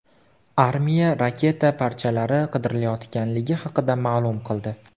Armiya raketa parchalari qidirilayotganligi haqida ma’lum qildi.